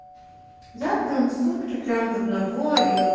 завтра он сутки прямо одного и вот